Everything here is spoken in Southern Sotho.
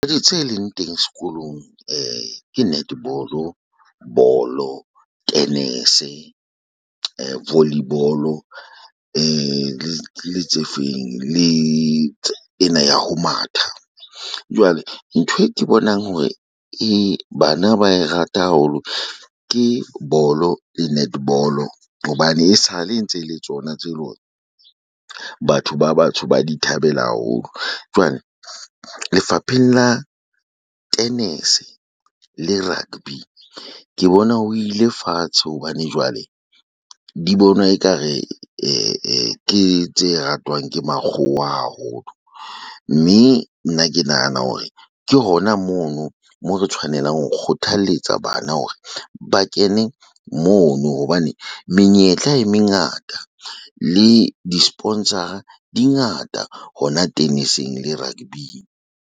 Tse leng teng sekolong ke netball ball-o, bolo, tenese, volley ball-o le tse feng le ena ya ho matha. Jwale ntho e ke bonang hore e bana ba e rata haholo ke bolo le netball-o hobane e sale ntse le tsona tse . Batho ba batsho ba di thabela haholo. Jwale lefapheng la tenese le rugby, ke bona ho ile fatshe hobane jwale di bonwa ekare ke tse ratwang ke makgowa haholo. Mme nna ke nahana hore ke hona mono. Mo re tshwanelang ho kgothalletsa bana hore ba kene mono hobane menyetla e mengata le di-sponsor-a di ngata, hona teneseng le rugby-ing.